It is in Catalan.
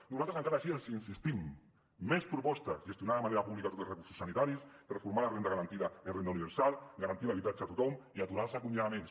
nosaltres encara així els insistim més propostes gestionar de manera pública tots els recursos sanitaris transformar la renda garantida en renda universal garantir l’habitatge a tothom i aturar els acomiadaments